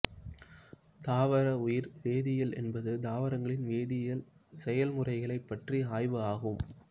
தாவர உயிர் வேதியியல் என்பது தாவரங்களின் வேதியியல் செயல்முறைகளைப் பற்றிய ஆய்வு ஆகும்